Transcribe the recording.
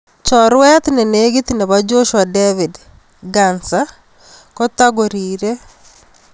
Chorwet nenegit nebo Joshua David Ghansa kotagubkorire.